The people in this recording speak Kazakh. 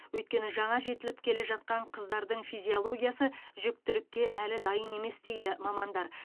өйткені жаңа жетіліп келе жатқан қыздардың физиологиясы жүктілікке әлі дайын емес дейді мамандар